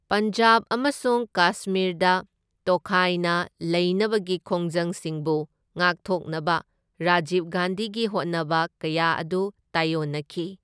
ꯄꯟꯖꯥꯕ ꯑꯃꯁꯨꯡ ꯀꯥꯁꯃꯤꯔꯗ ꯇꯣꯈꯥꯏꯅ ꯂꯩꯅꯕꯒꯤ ꯈꯣꯡꯖꯪꯁꯤꯡꯕꯨ ꯉꯥꯛꯊꯣꯛꯅꯕ ꯔꯥꯖꯤꯕ ꯒꯥꯟꯙꯤꯒꯤ ꯍꯣꯠꯅꯕ ꯀꯌꯥ ꯑꯗꯨ ꯇꯥꯏꯑꯣꯟꯅꯈꯤ꯫